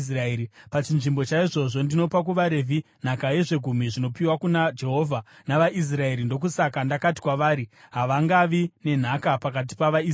Pachinzvimbo chaizvozvo ndinopa kuvaRevhi nhaka yezvegumi zvinopiwa kuna Jehovha navaIsraeri. Ndokusaka ndakati kwavari: ‘Havangavi nenhaka pakati pavaIsraeri.’ ”